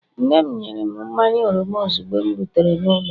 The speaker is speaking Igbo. Nne'm nyere m mmanya oroma ozugbo m rutere n'ụlọ